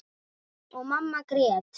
Og mamma grét.